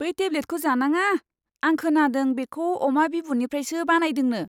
बै टेब्लेटखौ जानाङा! आं खोनादों बेखौ अमा बिबुनिफ्रायसो बानायदोंनो!